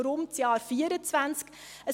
Warum das Jahr 2024?